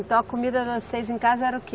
Então a comida das seis em casa era o quê?